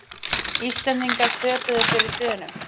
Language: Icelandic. Íslendingar töpuðu fyrir Dönum